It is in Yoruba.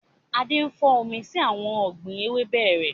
Adé ń fò mí sí àwọn ọ̀gbín ewébẹ̀ rẹ